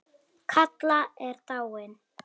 Kalla er dáin.